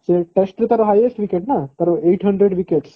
ସେ first ରୁ ତାର highest wicket ନା ତାର eight hundred wickets